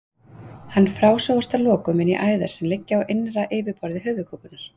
Hann frásogast að lokum inn í æðar sem liggja á innra yfirborði höfuðkúpunnar.